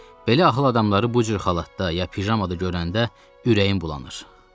Belə axıl adamları bu cür xalatda ya pijamada görəndə ürəyim bulanır.